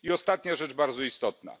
I ostatnia rzecz, bardzo istotna.